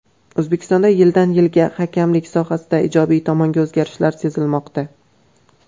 O‘zbekistonda yildan-yilga hakamlik sohasida ijobiy tomonga o‘zgarishlar sezilmoqda.